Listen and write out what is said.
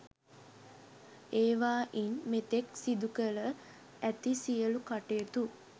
ඒවායින් මෙතෙක් සිදුකර ඇති සියලු කටයුතු